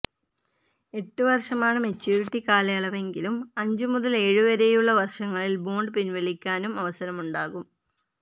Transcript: എട്ട് വർഷമാണ് മെച്യൂരിറ്റി കാലയളവെങ്കിലും അഞ്ച് മുതല് ഏഴ് വരെയുളള വർഷങ്ങളിൽ ബോണ്ട് പിൻവലിക്കാനും അവസരമുണ്ടാകും